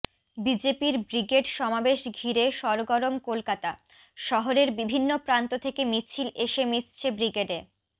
বিজেপির ব্রিগেড সমাবেশ ঘিরে সরগরম কলকাতা শহরের বিভিন্ন প্রান্ত থেকে মিছিল এসে মিশছে ব্রিগেডে